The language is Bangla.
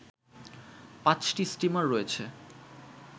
৫টি স্টিমার রয়েছে